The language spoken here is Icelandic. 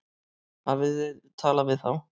Hafið þið talað við þá?